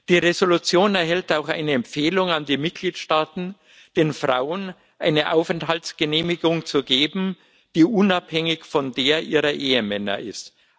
Die Entschließung enthält auch eine Empfehlung an die Mitgliedstaaten, den Frauen eine Aufenthaltsgenehmigung zu geben, die unabhängig von der ihrer Ehemänner ist.